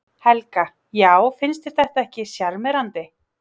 Helga: Já finnst þér þetta ekki sjarmerandi?